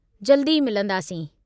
जल्द ई मिलंदासीं।